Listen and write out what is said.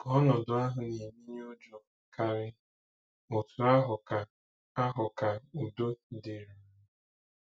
Ka ọnọdụ ahụ na-emenye ụjọ karị, otú ahụ ka ahụ ka udo dịruru.